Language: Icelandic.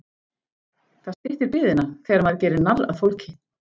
Það styttir biðina þegar maður gerir narr að fólki.